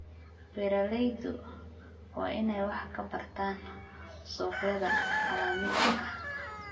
Beeraleydu waa inay wax ka bartaan suuqyada caalamiga ah.